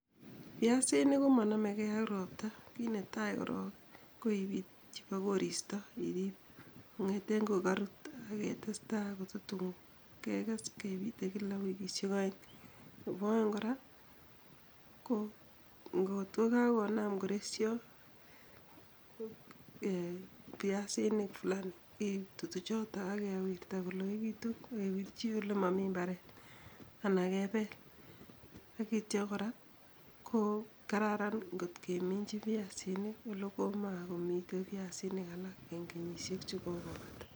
Piasinik komonomege ak ropta, kit netai korok ko ipit chepo koristo kong'eten kokarut ak ketesta kotatun keges kepite kila [wikisiek oeng'. Nebo oeng' kora ko ngot ko kagonam koresyo piasinik fulani, itutu choto ak kewirta koloegitu ak kewirchi ole momi mbaret anan kepel ak ityo kora ko kararan ngot keminchi piasinik ole komakimiten piasinik alak en kenyisiek alak chekokopata